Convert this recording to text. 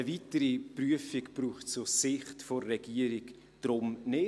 Eine weitere Prüfung braucht es aus Sicht der Regierung deshalb nicht.